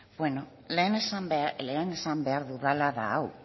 eskerrik asko presidente andrea beno lehen esan behar dudala da hau